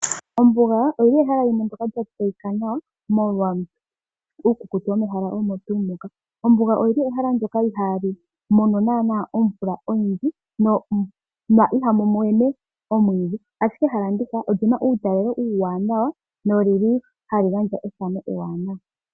Ombuga oyili ehala limwe ndyoka lya tseyika nawa molwa uukukutu womehala olyo tuu ndika. Ombuga oyili ehala ndyoka ihaali mono naana omvula oyindji na ihamu mene omwiidhi, ashike ehala ndika olina uutalelo uuwanawa no lili hali gandja ethano ewanawa.